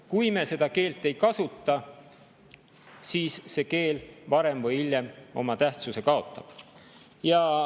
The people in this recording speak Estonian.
Kui me seda keelt ei kasuta, siis see keel varem või hiljem oma tähtsuse kaotab.